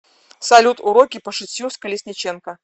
салют уроки по шитью с колесниченко